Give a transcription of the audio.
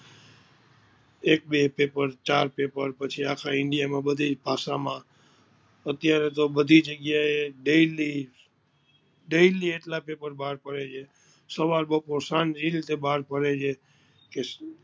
એક બે પેપર ચાર પેપર પછી આખા ઈન્ડિયા માં બધી ભાષા માં અત્યારે તો બધી જગ્યા એ daily daily આટલા પેપર બાર પડે છે સવાર બપોર સાંજ એ રીતે બાર પડે છે કે